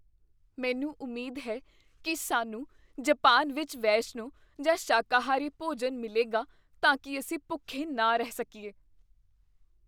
ਮੈਨੂੰ ਉਮੀਦ ਹੈ ਕੀ ਸਾਨੂੰ ਜਪਾਨ ਵਿੱਚ ਵੈਸ਼ਨੂੰ ਜਾਂ ਸ਼ਾਕਾਹਾਰੀ ਭੋਜਨ ਮਿਲੇਗਾ ਤਾਂ ਕੀ ਅਸੀਂ ਭੁੱਖੇ ਨਾ ਰਹਿ ਸਕੀਏ।